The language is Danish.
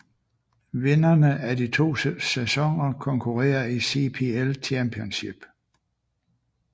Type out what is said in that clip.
Vinderne af de to sæsoner konkurrerer i CPL Championship